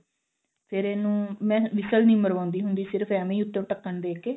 ਫਿਰ ਇਹਨੂੰ ਮੈਂ whistle ਨਹੀਂ ਮਰਵਾਉਂਦੀ ਹੁੰਦੀ ਸਿਰਫ ਈਵੇਂ ਉੱਪਰੋਂ ਢੱਕਣ ਦੇ ਕੇ